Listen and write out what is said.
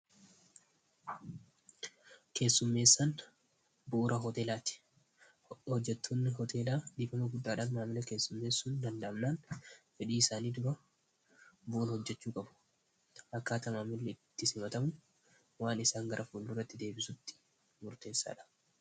keessummeessaan bu'uura hoteelaati hojjetoonni hoteelaa dhifama guddaadhaan maamila keessummeessuun danda'amnaan fedhii isaanii dura bu'ura hojjechuu qabu akkaata maamili itti simatamu waan isaan gara fuulduuratti deebisutti murteessaa dha